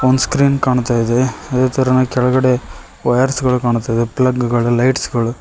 ಒಂದು ಸ್ಕ್ರೀನ್ ಕಾಣ್ತಾಯಿದೆ ಅದೇ ತರ ಕೆಳಗಡೆ ವಯರ್ಸ್ ಗಳು ಕಾಣ್ತಾ ಇದೆ ಪ್ಲಗ್ ಗಳು ಲೈಟ್ಸ್ ಗಳು --